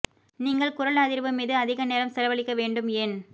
நீங்கள் குரல் அதிர்வு மீது அதிக நேரம் செலவழிக்க வேண்டும் ஏன்